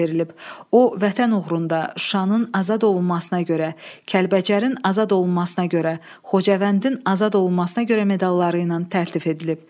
O, Vətən uğrunda Şuşanın azad olunmasına görə, Kəlbəcərin azad olunmasına görə, Xocavəndin azad olunmasına görə medalları ilə təltif edilib.